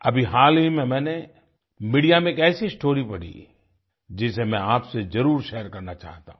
अभी हाल ही में मैंने मीडिया में एक ऐसी स्टोरी पढ़ी जिसे मैं आपसे जरुर शेयर करना चाहता हूँ